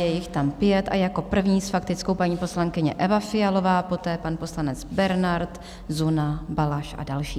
Je jich tam pět a jako první s faktickou paní poslankyně Eva Fialová, poté pan poslanec Bernard, Zuna, Balaš a další.